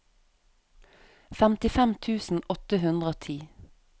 femtifem tusen åtte hundre og ti